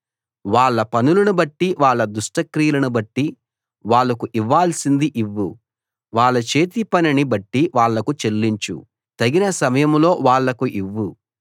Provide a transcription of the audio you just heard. వాళ్ళ పనులను బట్టి వాళ్ళ దుష్టక్రియలను బట్టి వాళ్లకు ఇవ్వాల్సింది ఇవ్వు వాళ్ళ చేతి పనిని బట్టి వాళ్లకు చెల్లించు తగిన సమయంలో వాళ్ళకు ఇవ్వు